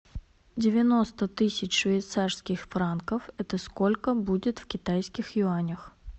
девяносто тысяч швейцарских франков это сколько будет в китайских юанях